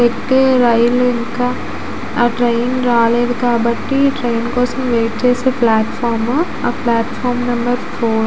ఎక్కే రైలు ఇంకా ఆ ట్రైన్ రాలేదు కాబట్టి ట్రైన్ కోసం వైట్ చేసే ప్లాట్ ఫార్మ్ ఆ ప్లాట్ ఫార్మ్ నెంబర్ ఫోర్ .